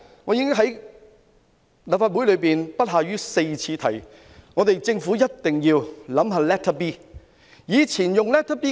我已在立法會提出不下4次，政府一定要考慮使用 Letter B。